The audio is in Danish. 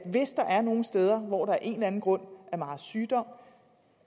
hvis der er nogle steder hvor der af en eller anden grund er meget sygdom